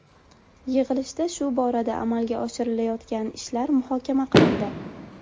Yig‘ilishda shu borada amalga oshirilayotgan ishlar muhokama qilindi.